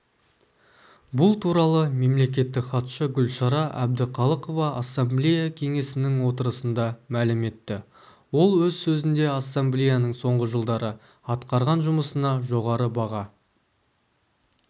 бұл туралы мемлекеттік хатшы гүлшара әбдіқалықова ассамблея кеңесінің отырысында мәлім етті ол өз сөзінде ассамблеяның соңғы жылдары атқарған жұмысына жоғары баға